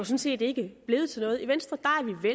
set ikke er blevet til noget i venstre